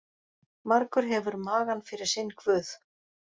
Margur hefur magann fyrir sinn guð.